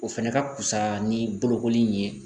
O fɛnɛ ka fusa ni bolokoli in ye